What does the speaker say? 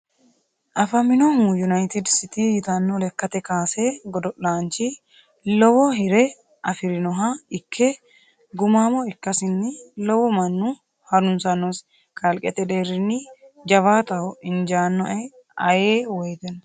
Afaminohu united city yitano lekkate kaase godo'lanchi lowo hire afirinoha ikke gumamo ikkasini lowo mannu harunsanosi kalqete deerinni jawaattaho injanoe ayee woyteno.